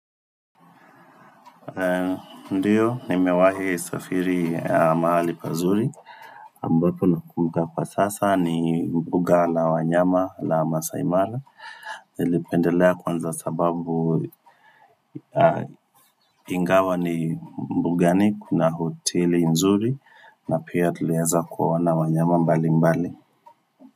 Ndiyo nimewahe safiri ya mahali pazuri mbapo nakumika pa sasa ni mbuga la wanyama la masai mara Nilipendelea kwanza sababu Ingawa ni mbuga ni kuna hoteli nzuri na pia tuliaza kuawana wanyama mbali mbali.